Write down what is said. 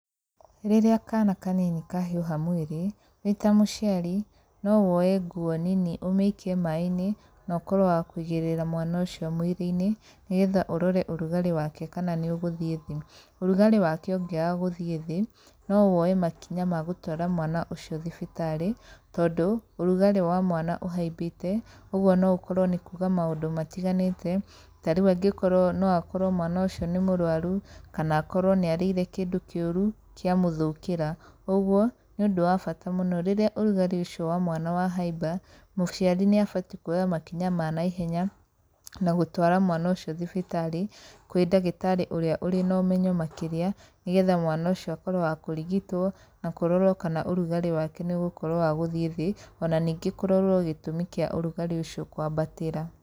Rĩrĩa kana kanini kahiũha mwĩrĩ, wĩ ta mũciari no woye nguo nini ũmĩikie maĩ-inĩ, no ũkorwo wa kũigĩrĩra mwana ũcio mwĩrĩ-inĩ, nĩgetha ũrore ũrugarĩ wake kana nĩũgũthiĩ thĩ. Ũrugarĩ wake ũngĩaga gũthiĩ thĩ, no woye makinya ma gũtwara mwana ũcio thibitarĩ, tondũ ũrugarĩ wa mwana ũhaimbĩte, ũguo no ũkorwo nĩ kuga maũndũ matiganĩte. Ta rĩu angĩkorwo no akorwo mwana ũcio nĩ mũrwaru, kana akorwo nĩ arĩire kĩndũ kĩũru kĩamũthũkĩra, ũguo nĩ ũndũ wa bata mũno rĩrĩa ũrugarĩ ũcio wa mwana wahaimba, mũciari nĩabatiĩ kuoya makinya ma naihenya na gũtwara mwana ũcio thibitarĩ kwĩ ndagĩtarĩ ũrĩa ũrĩ no ũmenyo makĩria, nĩgetha mwana ũcio akorwo wa kũrigitwo na kũrorwo kana ũrugarĩ wake nĩũgũkorwo wa gũthiĩ thĩ, ona ningĩ kũrorwo gĩtũmi kĩa ũrugarĩ ũcio kwambatĩra.